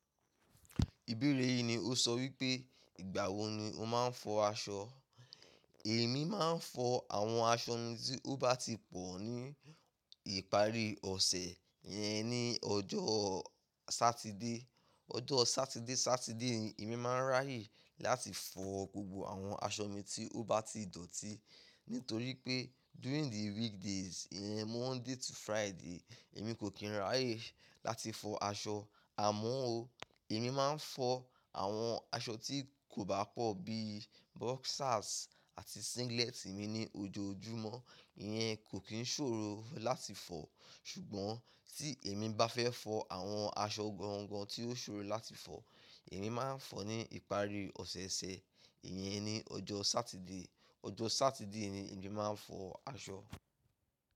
Ìbéèrè yìí ni ó sọ wípé ìgbà wo ni ó máa ń fọ aṣọ. Èmi máa ń fọ àwọn aṣọ mi tí ó bá ti pọ̀ ní ìparí ọ̀sẹ̀, iyẹn ní ọjọ́ Sátidé. Ọjọ́ Sátidé, Sátidé ni èmi máa ń ráyè láti fọ gbogbo àwọn aṣọ mi tí ó bá ti dọ̀tí. Nítorí pé during the weekdays yẹn, Monday to Friday, èmi kò kí n ráyè láti fọ aṣọ. Àmọ́ o, èmi máa ń fọ àwọn aṣọ tí kò bá pọ̀ bíi boxers àti singlet mi ní ojoojúmọ́. Ìyẹn kò kí ń ṣòro láti fọ. Ṣùgbọ́n tí èmi bá fẹ́ fọ àwọn aṣọ gangan tí ó ṣòro láti fọ, èmi máa ń fọ ní ìparí ọ̀sẹ̀ẹ̀sẹ̀. Ìyẹn ni ọjọ́ Sátidé. Ọjọ́ Sátidé ni èmi máa ń fọ aṣọ.